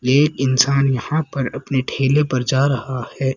एक इंसान यहां पर अपने ठेले पर जा रहा है।